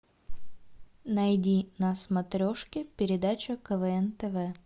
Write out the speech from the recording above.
найди на смотрешке передачу квн тв